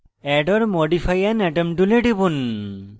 add or modify an atom tool টিপুন